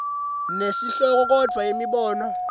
nesihloko kodvwa imibono